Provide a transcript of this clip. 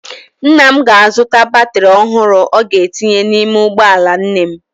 Nna m ga-azụta batrị ọhụrụ ọ ga-etinye n'ime ụgbọala nne m.